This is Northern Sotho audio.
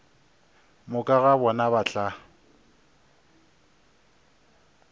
moka ga bona ba tla